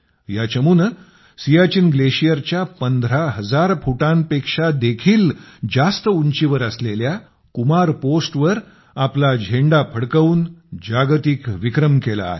या चमूने सियाचीन ग्लेशियरच्या 15 हजार फुटांपेक्षा देखील जास्त उंचीवर असलेल्या कुमार पोस्ट वर आपला झेंडा फडकवून जागतिक विक्रम केला आहे